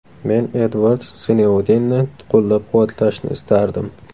Men Edvard Snoudenni qo‘llab-quvvatlashni istardim.